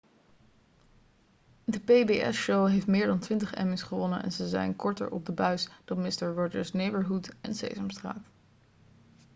de pbs-show heeft meer dan twintig emmy's gewonnen en ze zijn korter op de buis dan mister rogers' neighborhood en sesamstraat